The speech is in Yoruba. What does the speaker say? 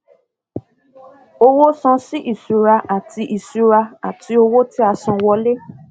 owó san sí ìṣura àti ìṣura àti owó tíasanwọlé